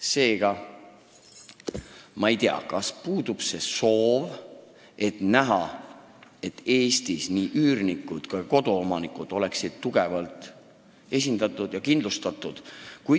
Seega ma ei tea, kas äkki ei soovita, et Eestis nii üürnikud kui koduomanikud oleksid tugevalt esindatud ja kindlustatud.